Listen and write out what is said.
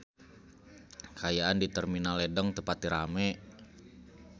Kaayaan di Terminal Ledeng teu pati rame